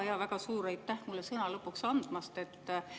Jaa, väga suur aitäh mulle sõna lõpuks andmast!